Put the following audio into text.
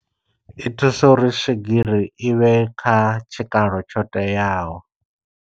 I thusa uri swigiri i vhe kha tshikalo tsho teaho.